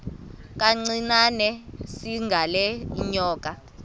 kancinane izingela iinyoka